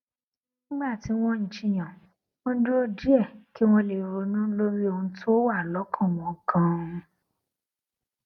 nígbà tí wón ń jiyàn wón dúró díè kí wón lè ronú lórí ohun tó wà lókàn wọn ganan